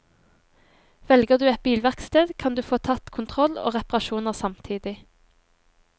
Velger du et bilverksted, kan du få tatt kontroll og reparasjoner samtidig.